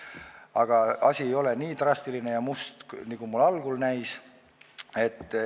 Aga asi ei ole nii drastiline ja must, nagu mulle algul näis.